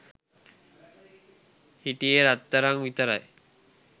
හිටියේ රත්තරං විතරයි.